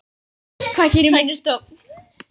Hvað gerir minni stofn?